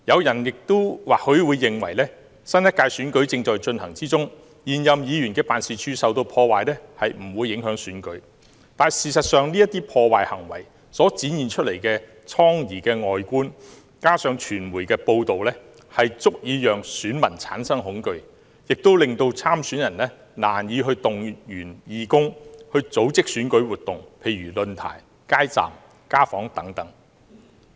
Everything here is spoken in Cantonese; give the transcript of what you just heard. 也許有人會認為，新一屆選舉即將進行，因此現任議員辦事處受破壞並不會影響選舉，但事實上，這些破壞行為所展現的瘡痍外觀，再加上傳媒的報道，足以令選民產生恐懼，亦令參選人難以動員義工組織選舉活動，例如論壇、街站和家訪等。